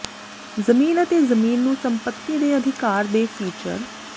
ਜ਼ਮੀਨ ਅਤੇ ਜ਼ਮੀਨ ਨੂੰ ਸੰਪਤੀ ਦੇ ਅਧਿਕਾਰ ਦੇ ਫੀਚਰ